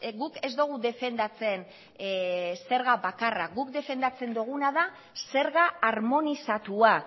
guk ez dugu defendatzen zerga bakarra guk defendatzen duguna da zerga harmonizatua